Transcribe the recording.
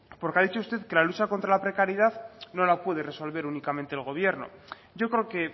porque ha dicho usted que la lucha contra la precariedad no la puede resolver únicamente el gobierno yo creo que